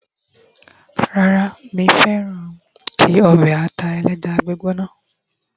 rara mi fẹràn ki obe ata eleja gbóná